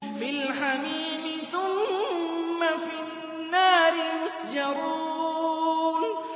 فِي الْحَمِيمِ ثُمَّ فِي النَّارِ يُسْجَرُونَ